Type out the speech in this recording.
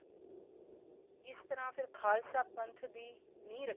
ਇਸ ਤਰ੍ਹਾਂ ਫੇਰ ਖਾਲਸਾ ਪੰਥ ਦੀ ਨੀਂਹ ਰੱਖੀ